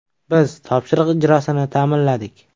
Biz topshiriq ijrosini ta’minladik.